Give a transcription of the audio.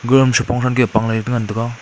agama suipong soi doipanh ley de tengan taiga.